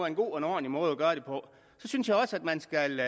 en god og ordentlig måde at gøre det på så synes jeg også at man skal